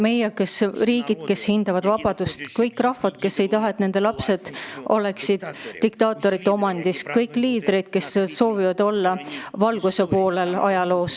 Meie kõik: riigid, kes hindavad vabadust; rahvad, kes ei taha, et nende lapsed oleksid diktaatorite omandis; liidrid, kes soovivad olla ajaloos valguse poolel.